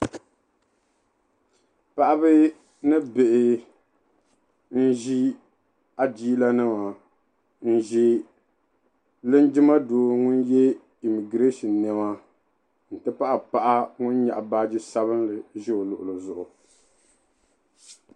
Paɣaba ni bihi n-ʒi adiilanima n-ʒe lingima doo ŋun ye "immigration" nɛma n-ti pahi paɣa o ni nyɛɣi baaji sabinli za o luɣili zuɣu.